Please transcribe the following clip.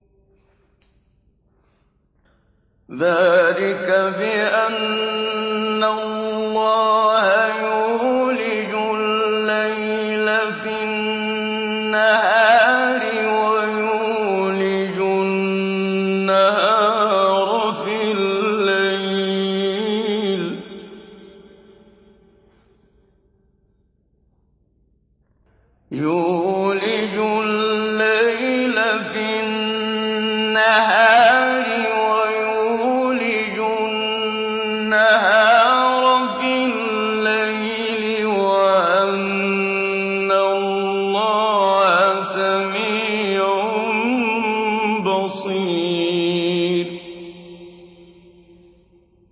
ذَٰلِكَ بِأَنَّ اللَّهَ يُولِجُ اللَّيْلَ فِي النَّهَارِ وَيُولِجُ النَّهَارَ فِي اللَّيْلِ وَأَنَّ اللَّهَ سَمِيعٌ بَصِيرٌ